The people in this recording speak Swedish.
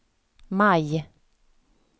maj